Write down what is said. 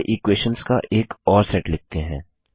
चलिए इक्वेशंस का एक और सेट लिखते हैं